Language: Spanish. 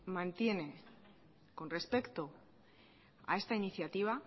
mantiene con respecto a esta iniciativa